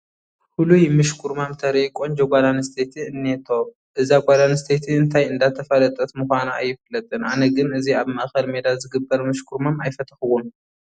ፍሉይ ምሽኩርማም ተርኢ ቆንጆ ጓል ኣነስተይቲ እኔቶ፡፡ እዛ ጓል ኣነስተይቲ እንታይ እንዳፋለጠት ምዃና ኣይፍለጥን፡፡ ኣነ ግን እዚ ኣብ ማእኸል ሜዳ ዝግበር ምሽኩርማም ኣይፈተኹዎን፡፡